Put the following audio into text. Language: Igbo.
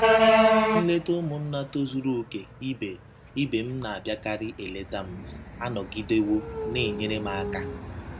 Nleta ụmụnna tozuru okè ibe ibe m na - abịakarị eleta m anọgidewo na - enyere m aka.